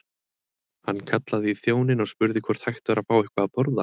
Hann kallaði í þjóninn og spurði hvort hægt væri að fá eitthvað að borða.